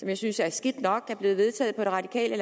jeg synes er skidt nok som er blevet vedtaget på det radikale